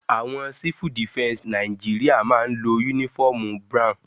Àwọn civil defense Nàìjíríà máa ń lo uniform brown.